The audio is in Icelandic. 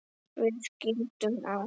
Við skildum á